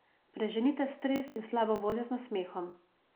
Preženite stres in slabo voljo z nasmehom.